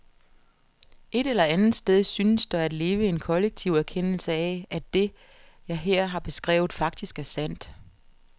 Et eller andet sted synes der at leve en kollektiv erkendelse af, at det, jeg her har beskrevet, faktisk er sandt.